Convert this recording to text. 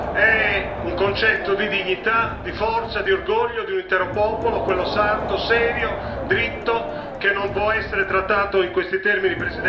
È un concetto di dignità, di forza, di orgoglio di un intero popolo, quello sardo, serio, dritto, che non può essere trattato in questi termini.